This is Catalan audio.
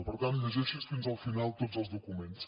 per tant llegeixi’s fins al final tots els documents